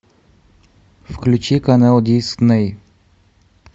включи канал дисней